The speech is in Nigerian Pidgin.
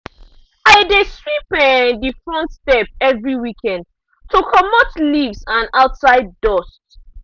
i dey sweep um the front step every weekend to comot leaves and outside dust.